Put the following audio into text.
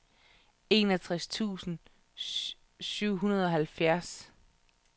enoghalvtreds tusind og syvoghalvfjerds